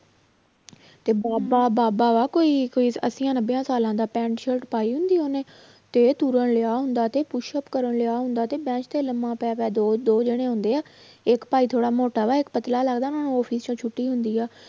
ਤੇ ਬਾਬਾ ਬਾਬਾ ਵਾ ਕੋਈ ਕੋਈ ਅੱਸੀਆਂ ਨੱਬਿਆਂ ਸਾਲਾਂ ਦਾ ਪੈਂਟ ਸਰਟ ਪਾਈ ਹੁੰਦੀ ਆ ਉਹਨੇ ਤੇ ਤੁਰ ਰਿਹਾ ਹੁੰਦਾ ਤੇ ਪੁਸ਼ਪ ਕਰ ਰਿਹਾ ਹੁੰਦਾ ਤੇ ਬੈਂਚ ਤੇ ਲੰਮਾ ਪੈ ਪੈ ਦੋ ਦੋ ਜਾਣੇੇ ਹੁੰਦੇ ਆ, ਇੱਕ ਭਾਈ ਥੋੜ੍ਹਾ ਮੋਟਾ ਵਾ ਇੱਕ ਪਤਲਾ ਲੱਗਦਾ office ਚੋਂ ਛੁੱਟੀ ਹੁੰਦੀ ਆ,